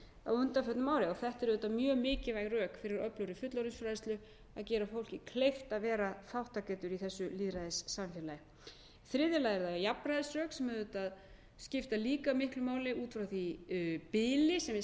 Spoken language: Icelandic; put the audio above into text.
á undanförnum árum þetta eru auðvitað mjög mikilvæg rök fyrir öflugri fullorðinsfræðsla að gera fólki kleift að vera þátttakendur í þessu lýðræðissamfélagi í þriðja lagi eru það jafnræðisrök sem auðvitað skipta líka miklu máli út frá því bili sem við